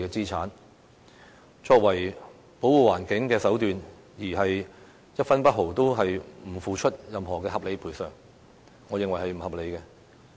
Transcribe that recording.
以此作為保護環境的手段，但卻不付出一分一毫的合理賠償，我認為是不合理的。